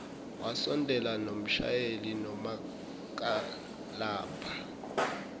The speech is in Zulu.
wasondela nomshayeli nomakalabha